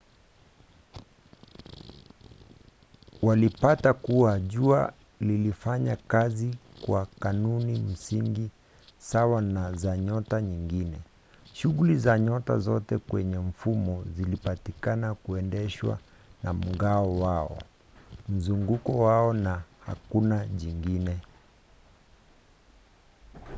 walipata kuwa jua lilifanya kazi kwa kanuni msingi sawa na za nyota nyingine: shuguli za nyota zote kwenye mfumo zilipatikana kuendeshwa na mng'ao wao mzunguko wao na hakuna jingine